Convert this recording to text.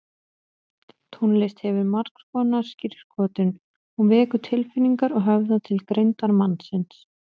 Tónlist hefur margskonar skírskotun, hún vekur tilfinningar og höfðar til greindar mannsins.